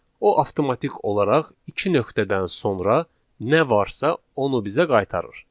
O avtomatik olaraq iki nöqtədən sonra nə varsa, onu bizə qaytarır.